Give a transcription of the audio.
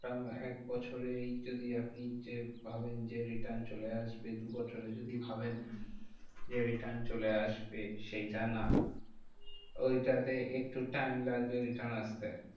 Term এ এক বছরেই যদি আপনি যে ভাবেন যে, return চলে আসবে। দু বছরে যদি ভাবেন যে, return চলে আসবে সেইটা না। ওই তাতে একটু time লাগবে return আসতে।